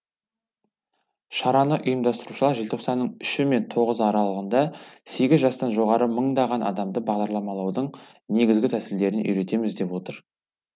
шараны ұйымдастырушылар желтоқсанның үші мен тоғызы аралығында сегіз жастан жоғары мыңдаған адамды бағдарламалаудың негізгі тәсілдеріне үйретеміз деп отыр